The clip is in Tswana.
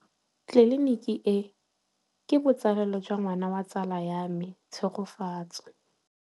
Tleliniki e, ke botsalêlô jwa ngwana wa tsala ya me Tshegofatso.